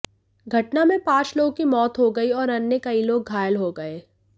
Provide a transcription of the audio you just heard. घटना में पांच लोगों की मौत हो गई और अन्य कई लोग घायल हो गए